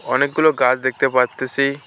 অনেকগুলো গাছ দেখতে পারতেসি।